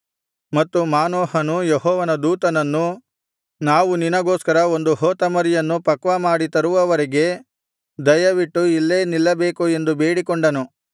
ಮತ್ತು ಮಾನೋಹನು ಯೆಹೋವನ ದೂತನನ್ನು ನಾವು ನಿನಗೋಸ್ಕರ ಒಂದು ಹೋತಮರಿಯನ್ನು ಪಕ್ವಮಾಡಿ ತರುವವರೆಗೆ ದಯವಿಟ್ಟು ಇಲ್ಲೇ ನಿಲ್ಲಬೇಕು ಎಂದು ಬೇಡಿಕೊಂಡನು